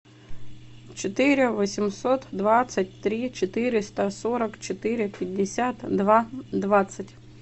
четыре восемьсот двадцать три четыреста сорок четыре пятьдесят два двадцать